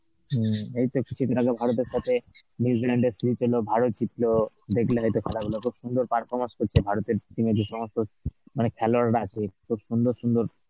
হম, এইতো কিছুদিন আগে ভারতের সাথে New Zealand এর series হলো, ভারত জিতল, দেখলে হয়তো খেলা গুলো খুব সুন্দর performance করছে ভারতের team এ যে সমস্ত মানে খেলোয়াড়রা আছে খুব সুন্দর সুন্দর